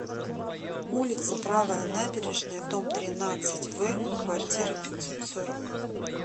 улица правая набережная дом тринадцать в квартира пятьсот сорок